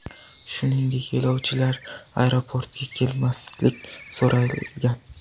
Shuningdek, yo‘lovchilardan aeroportga kelmaslik so‘ralgan.